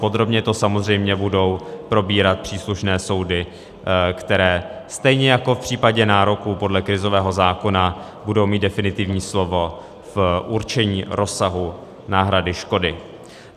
Podrobně to samozřejmě budou probírat příslušné soudy, které stejně jako v případě nároků podle krizového zákona budou mít definitivní slovo v určení rozsahu náhrady škody.